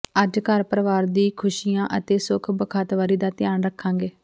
ਅੱਜ ਘਰ ਪਰਵਾਰ ਦੀ ਖੁਸ਼ੀਆਂ ਅਤੇ ਸੁਖ ਬਖ਼ਤਾਵਰੀ ਦਾ ਧਿਆਨ ਰੱਖਾਂਗੇ